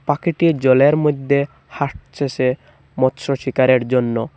পাখিটি জলের মদ্যে হাঁটতেসে মৎস্য শিকারের জন্য।